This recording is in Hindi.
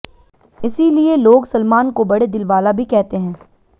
इसीलिए लोग सलमान को बड़े दिलवाला भी कहते हैं